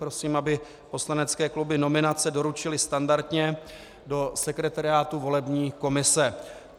Prosím, aby poslanecké kluby nominace doručily standardně do sekretariátu volební komise.